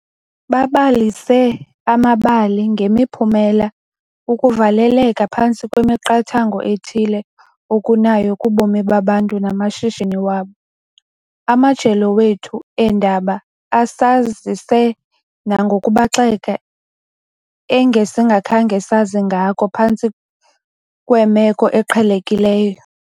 Babalise amabali ngemiphumela ukuvaleleka phantsi kwemiqathango ethile okunayo kubomi babantu namashishini wabo. Amajelo wethu eendaba asazise nangokubaxeka engesingakhange sazi ngako phantsi kwemeko eqhelekileyo.